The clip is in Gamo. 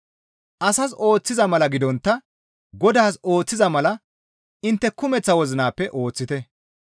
Asas ooththiza mala gidontta Godaas ooththiza mala intte kumeththa wozinappe ooththite.